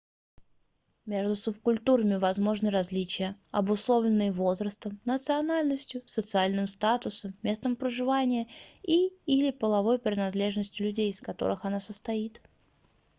meжду субкультурами возможны различия обусловленные возрастом национальностью социальным статусом местом проживания и/или половой принадлежностью людей из которых она состоит